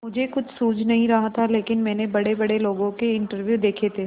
मुझे कुछ सूझ नहीं रहा था लेकिन मैंने बड़ेबड़े लोगों के इंटरव्यू देखे थे